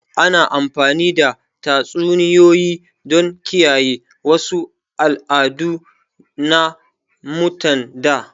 Ana amfani da tatsuniyoyi don kiyaye wasu al'adu na mutan da